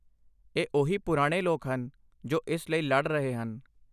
ਇਹ ਉਹੀ ਪੁਰਾਣੇ ਲੋਕ ਹਨ ਜੋ ਇਸ ਲਈ ਲੜ ਰਹੇ ਹਨ।